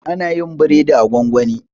ana yin biredi a gwangwani